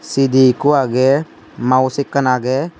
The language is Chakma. C_D ekko agey mouse ekkan agey.